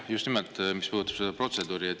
Just nimelt, see puudutab seda protseduuri.